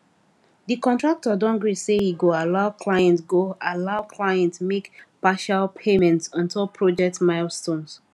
the contractor don gree say e go allow client go allow client make partial payments ontop project milestones